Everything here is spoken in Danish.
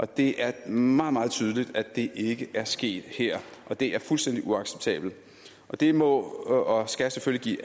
det er meget meget tydeligt at det ikke er sket her og det er fuldstændig uacceptabelt og det må og skal selvfølgelig